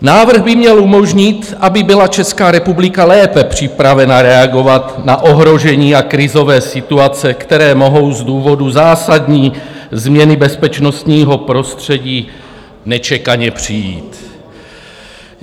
Návrh by měl umožnit, aby byla Česká republika lépe připravena reagovat na ohrožení a krizové situace, které mohou z důvodu zásadní změny bezpečnostního prostředí nečekaně přijít.